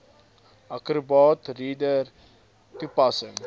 acrobat reader toepassing